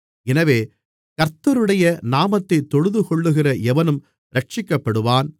எனவே கர்த்தருடைய நாமத்தைத் தொழுதுகொள்ளுகிற எவனும் இரட்சிக்கப்படுவான்